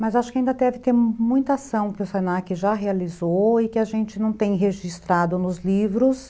Mas acho que ainda deve ter muita ação que o se na que já realizou e que a gente não tem registrado nos livros,